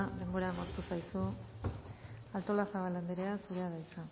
denbora agortu zaizu artolazabal anderea zurea da hitza